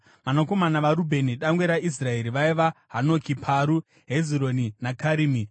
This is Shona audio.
Vanakomana vaRubheni dangwe raIsraeri vaiva: Hanoki, Paru, Hezironi naKarimi.